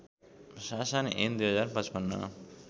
शासन ऐन २०५५